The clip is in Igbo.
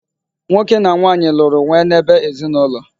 Nwoke na nwanyị lụrụ wee n'ebe ezinụlọ.